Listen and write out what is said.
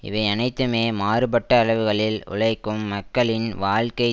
இவையனைத்துமே மாறுபட்ட அளவுகளில் உழைக்கும் மக்களின் வாழ்க்கை